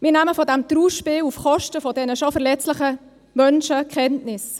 Wir nehmen von diesem Trauerspiel auf Kosten der schon verletzlichen Menschen Kenntnis.